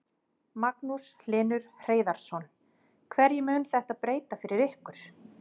Magnús Hlynur Hreiðarsson: Hverju mun þetta breyta fyrir ykkur?